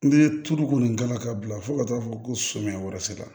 N'i ye tulu kɔni k'a la ka bila fo ka taa fɔ ko samiya wɛrɛ sera